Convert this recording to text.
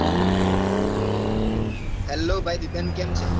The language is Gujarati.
hello ભાઈ દીપેન કેમ છે